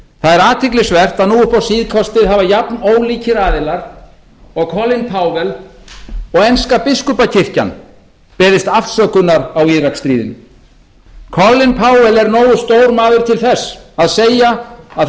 það er athyglisvert að nú upp á síðkastið hafa jafn ólikir aðilar og colin powell og enska biskupakirkjan beðist afsökunar á íraksstríðinu colin powell er nógu stór maður til þess að segja að